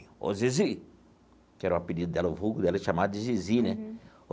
Ô Zizi, que era o apelido dela, o vulgo dela, é chamado de Zizi, né?